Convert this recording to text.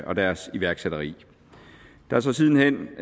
og deres iværksætteri der er så siden hen